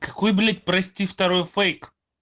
какой блять прости второй фейк